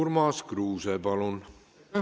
Urmas Kruuse, palun!